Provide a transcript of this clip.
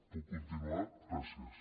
puc continuar gràcies